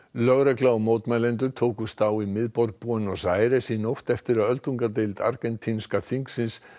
lögregla og mótmælendur tókust á í miðborg Buenos Aires í nótt eftir að öldungadeild argentínska þingsins